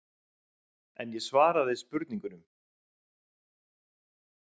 En ég svaraði spurningunum.